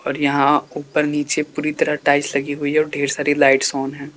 और यहां ऊपर नीचे पूरी तरह टाइल्स लगी हुई है और ढेर सारी लाइट्स ऑन है।